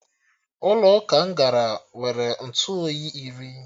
Ụlọ ụka m gara nwere Ntụ oyi iri